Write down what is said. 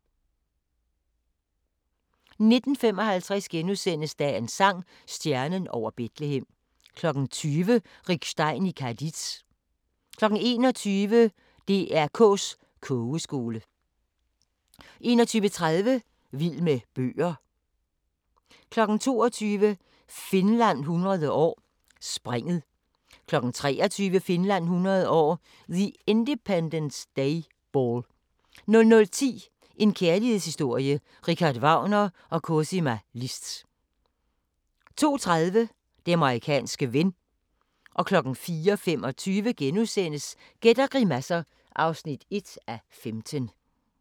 19:55: Dagens sang: Stjernen over Betlehem * 20:00: Rick Stein i Cadiz 21:00: DR K's Kogeskole 21:30: Vild med bøger 22:00: Finland 100 år: Springet 23:00: Finland 100 år: The Independence Day Ball 00:10: En kærlighedshistorie – Richard Wagner & Cosima Liszt 02:30: Den amerikanske ven 04:25: Gæt og grimasser (1:15)*